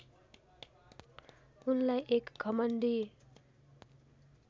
उनलाई एक घमण्डी